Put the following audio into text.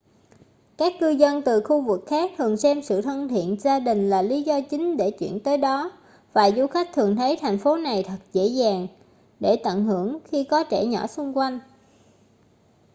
các cư dân từ khu vực khác thường xem sự thân thiện gia đình là lý do chính để chuyển tới đó và du khách thường thấy thành phố này thật dễ dàng để tận hưởng khi có trẻ nhỏ xung quanh